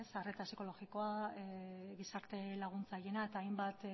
arreta psikologikoa gizarte laguntzaileena eta hainbat